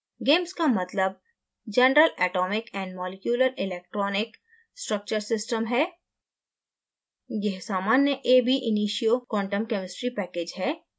gamess का मतलब: general atomic and molecular electronic structure system सामान्य परमाण्विक और आणविक electronic संरचना system